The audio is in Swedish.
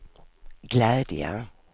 glädje